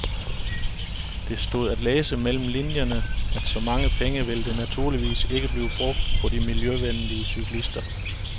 Det stod at læse mellem linierne, at så mange penge vil der naturligvis ikke blive brugt på de miljøvenlige cyklister.